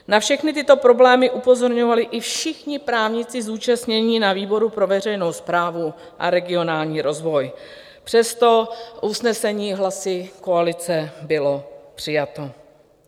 Na všechny tyto problémy upozorňovali i všichni právníci zúčastnění na výboru pro veřejnou správu a regionální rozvoj, přesto usnesení hlasy koalice bylo přijato.